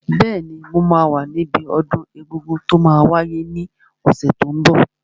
Bẹ́ẹ̀ni, mo máa wà níbi ọdún egungun tó máa wáyé ní ọ̀sẹ̀ tó n bọ̀